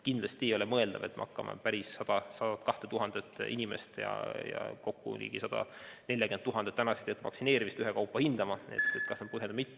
Kindlasti ei ole mõeldav, et me hakkame 102 000 inimest ja kokku ligi 140 000 tänaseks tehtud vaktsineerimist ühekaupa hindama, kas need olid põhjendatud või mitte.